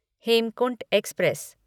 Hemkunt express